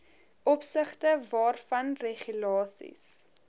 opsigte waarvan regulasies